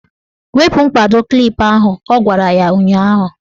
Wepu mkpado klip ahụ! Ọ gwara ya ụnyaahụ.